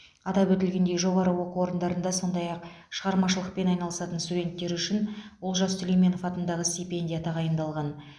атап өтілгендей жоғары оқу орындарында сондай ақ шығармашылықпен айналысатын студенттер үшін олжас сүлейменов атындағы стипендия тағайындалған